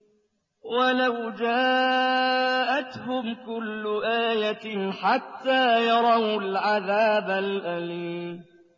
وَلَوْ جَاءَتْهُمْ كُلُّ آيَةٍ حَتَّىٰ يَرَوُا الْعَذَابَ الْأَلِيمَ